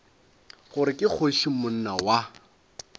gore ke kgoši monna wa